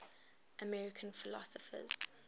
american philosophers